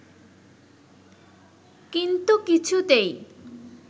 কিন্তু কিছুতেই